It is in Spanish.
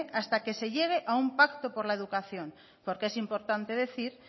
hasta que se llegue a un pacto por la educación porque es importante decir